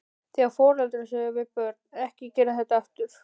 Þegar foreldrar segja við börn, ekki gera þetta aftur?